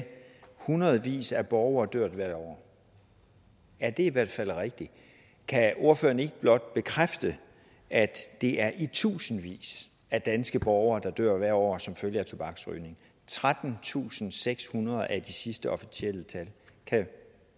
hundredvis af borgere dør hvert år ja det er i hvert fald rigtigt kan ordføreren ikke blot bekræfte at det er i tusindvis af danske borgere der dør hvert år som følge af tobaksrygning trettentusinde og sekshundrede er det sidste officielle tal kan